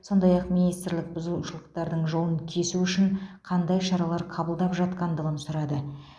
сондай ақ министрлік бұзушылықтардың жолын кесу үшін қандай шаралар қабылдап жатқандығын сұрады